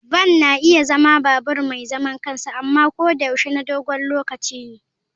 Van na iya zama babur mai zaman kansa amma ko da yaushe na dogon lokaci ne.